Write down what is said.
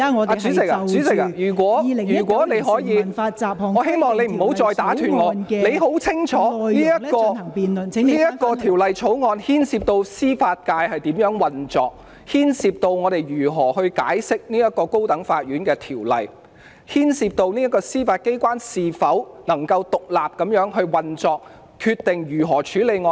代理主席，如果你可以，我希望你不要再打斷我的發言，你很清楚此項條例草案牽涉到司法界如何運作，牽涉到我們如何解釋《高等法院條例》，牽涉到司法機關能否獨立運作，決定如何處理案件。